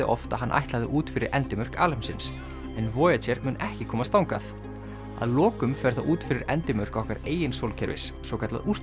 oft að hann ætlaði út fyrir endimörk alheimsins en mun ekki komast þangað að lokum ferð það út fyrir endimörk okkar eigin sólkerfis svokallað